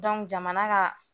jamana ka